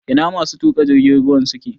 Ina masu tuƙa jirgin ruwan suke?